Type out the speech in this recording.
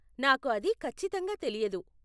నాకు అది ఖచ్చితంగా తెలియదు.